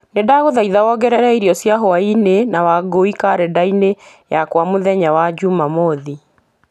nĩ ndagũthaitha wongerere irio cia hwaĩinĩ na wangũi karenda-inĩ yakwa mũthenya wa njuumamothi